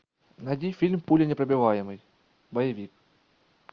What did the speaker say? найди фильм пуленепробиваемый боевик